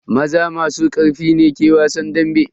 Maza masu karfi ne ke wasan dambe.